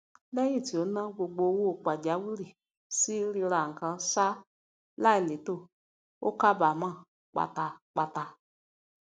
lẹyìn tí ó na gbogbo owó pajawìrì sí rírà ǹkán ṣá láìlétò ó kábàámọ pátápátá